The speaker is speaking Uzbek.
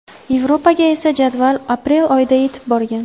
Yevropaga esa jadval aprel oyida yetib borgan.